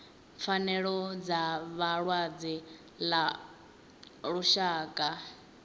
pfanelo dza vhalwadze ḽa lushaka